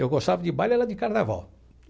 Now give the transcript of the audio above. Eu gostava de baile era de carnaval.